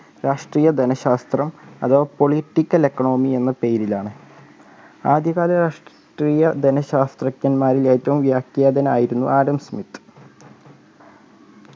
രാഷ്ട്രീയ ധനശാസ്ത്രം അഥവാ political economy എന്ന പേരിലാണ് ആദ്യകാല രാഷ്ട്രീയ ധനശാസ്ത്രജ്ഞമാരിൽ ഏറ്റവും വ്യാഖ്യാതൻ ആയിരുന്നു ആഡം സ്‌മിത്ത്‌